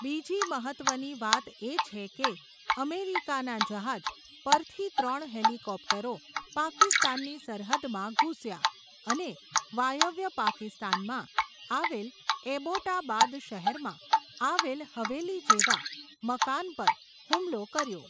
બીજી મહત્વની વાત એ છે કે, અમેરિકાના જહાજ, પરથી ત્રણ હેલીકોપ્ટરો, પાકિસ્તાનની સરહદમાં ઘૂસ્યા, અને વાયવ્ય પાકિસ્તાનમાં, આવેલ એબોટાબાદ શહેરમાં, આવેલ હવેલી જેવા, મકાન પર હુમલો કર્યો.